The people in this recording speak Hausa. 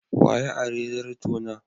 Wa ya ari zartona?